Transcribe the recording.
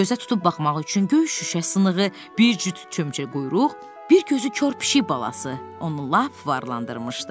Gözə tutub baxmaq üçün göy şüşə sınınğı, bir cüt cücə quyruq, bir gözü kor pişik balası onu lap varlandırmışdı.